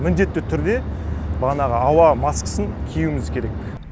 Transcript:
міндетті түрде манағы ауа маскасын киюіміз керек